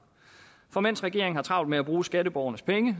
for mens regeringen har travlt med at bruge skatteborgernes penge